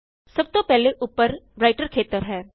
ਸਭ ਤੋਂ ਪਹਿਲੇ ਉੱਪਰ ਰਾਇਟਰ ਖੇਤਰ ਹੈ